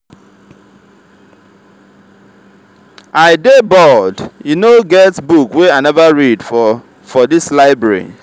i dey bored. e no get book wey i never read for for dis library.